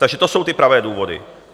Takže to jsou ty pravé důvody.